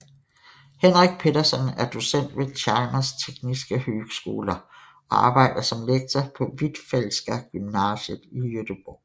Henrik Petersson er docent ved Chalmers tekniska högskola og arbejder som lektor på Hvitfeldtska Gymnasiet i Göteborg